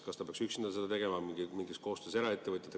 Kas ta peaks üksinda seda tegema või mingis koostöös eraettevõtjatega?